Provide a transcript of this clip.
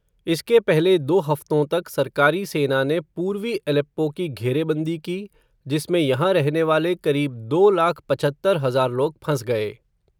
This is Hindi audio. इसके पहले दो हफ़्तों तक सरकारी सेना ने पूर्वी एलेप्पो की घेरेबंदी की, जिसमें यहाँ रहने वाले क़रीब दो लाख पचहत्तर हज़ार लोग फँस गए.